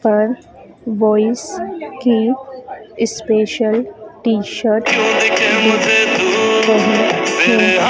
पर बॉयज की special T shirt --